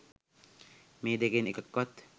මේ දෙකෙන් එකක්වත්